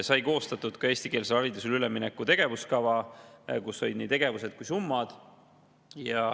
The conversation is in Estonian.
Sai koostatud ka eestikeelsele haridusele ülemineku tegevuskava, kus on nii tegevused kui ka summad.